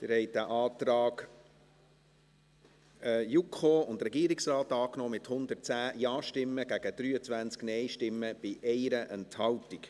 Sie haben den Antrag JuKo und Regierungsrat angenommen, mit 110 Ja- gegen 23 NeinStimmen bei 1 Enthaltung.